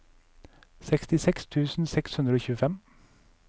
sekstiseks tusen seks hundre og tjuefem